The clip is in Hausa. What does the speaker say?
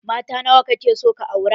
Mata nawa ka ke so ka aura?